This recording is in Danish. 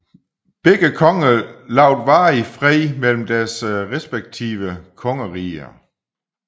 Begge konger lovede varig fred mellem deres respektive kongeriger